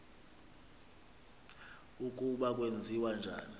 ukuba kwenziwa njani